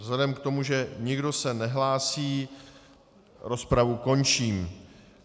Vzhledem k tomu, že se nikdo nehlásí, rozpravu končím.